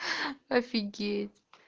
офигеть